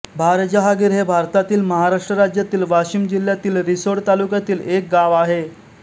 भारजहागिर हे भारतातील महाराष्ट्र राज्यातील वाशिम जिल्ह्यातील रिसोड तालुक्यातील एक गाव आहे